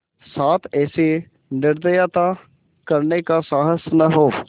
साथ ऐसी निर्दयता करने का साहस न हो